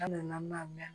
An nana mɛn